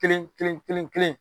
Kelen kelen kelen kelen.